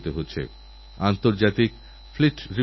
তাঁরাআলিগড় রেলস্টশনের সৌন্দর্যীকরণ করেছেন